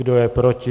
Kdo je proti?